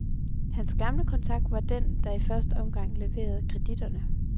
Hans gamle kontakt var den, der i første omgang leverede kreditterne.